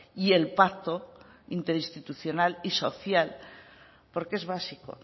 y el pacto interinstitucional y social porque es básico